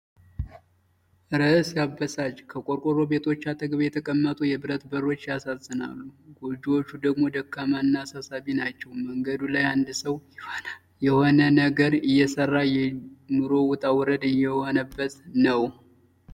እረ ሲያበሳጭ! ከቆርቆሮ ቤቶች አጠገብ የተቀመጡ የብረት በሮች ያሳዝናሉ። ጎጆዎቹ ደግሞ ደካማና አሳሳቢ ናቸው ። መንገዱ ላይ አንድ ሰው የሆነ ነገር እየሠራ ፣ የኑሮ ውጣ ውረድ እየሆነበት ነው።